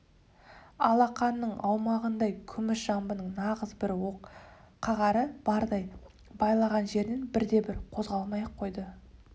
алақанның аумағындай күміс жамбының нағыз бір оқ қағары бардай байлаған жерінен бірде-бір қозғалмай-ақ қойды